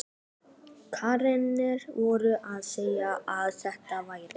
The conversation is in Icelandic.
Krakkarnir voru að segja að þetta væri